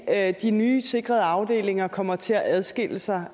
at de nye sikrede afdelinger kommer til at adskille sig